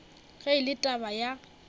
ge e le taba ya